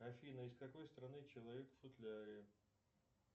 афина из какой страны человек в футляре